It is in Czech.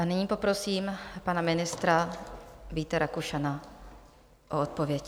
A nyní poprosím pana ministra Víta Rakušana o odpověď.